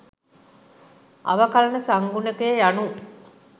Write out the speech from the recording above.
අවකලන සංගුණකය යනූ